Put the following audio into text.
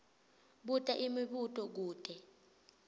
buta imibuto kute